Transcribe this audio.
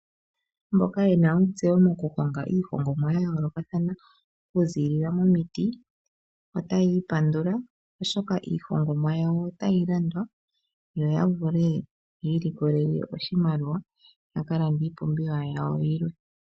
Mboka yena ontseyo mokuhonga iihongomwa ya yoolokathana kuziilila momiti otayi ipandula. Oshoka iihongomwa yawo otayi landwa yo ya vule yi ilikolele oshimaliwa ya ka lande ipumbiwa yawo yilwe.